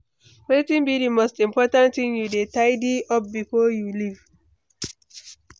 Wetin be di most important thing you dey tidy up before you leave?